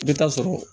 I bɛ taa sɔrɔ